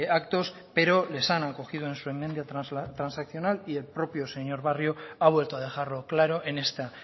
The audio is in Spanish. actos pero les han acogido en su enmienda transaccional y el propio el señor barrio ha vuelto a dejarlo claro en esta